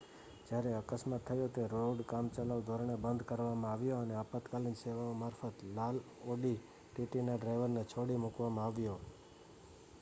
જ્યાં અકસ્માત થયો તે રોડ કામચલાઉ ધોરણે બંધ કરવામાં આવ્યો અને આપાતકાલીન સેવાઓ મારફત લાલ ઑડી ટીટીના ડ્રાઇવરને છોડી મૂકવામાં આવ્યો